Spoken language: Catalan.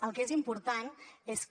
el que és important és que